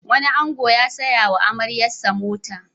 Wani ango ya saya wa amaryarsa mota.